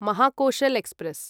Mahakoshal express